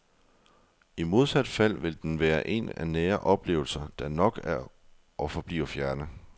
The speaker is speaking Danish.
I modsat fald vil den være en af nære oplevelser, der nok er og forbliver fjerne.